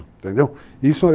Entendeu? Isso...